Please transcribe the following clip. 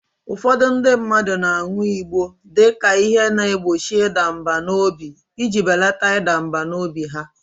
Ụfọdụ ndị mmadụ na-aṅụ igbọ dị ka ihe na-egbochi ịda mbà n'obi iji belata ịda mbà n'obi ha